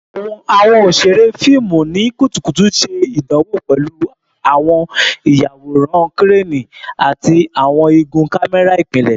Awọn oṣere fiimu ni kutukutu ṣe idanwo pẹlu awọn iyaworan Kireni ati awọn igun kamẹra ipilẹ